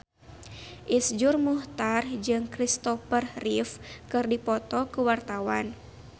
Iszur Muchtar jeung Kristopher Reeve keur dipoto ku wartawan